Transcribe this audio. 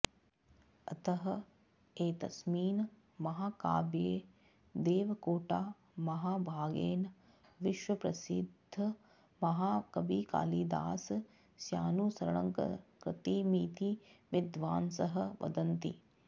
अतः एतस्मिन् महाकाव्ये देवकाेटा महाभागेन विश्वप्रसिद्धमहाकविकालिदासस्यानुसरणङ्कृतमिति विद्वांसः वदन्ति